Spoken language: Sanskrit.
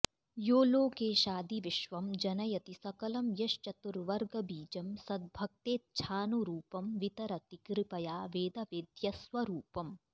यो लोकेशादि विश्वं जनयति सकलं यश्चतुर्वर्गबीजं सद्भक्तेच्छानुरूपं वितरति कृपया वेदवेद्यस्वरूपम्